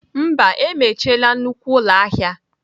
Mba, emechiela nnukwu ụlọ ahịa.